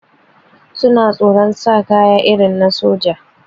Suna tsoron sanya kaya irin na soja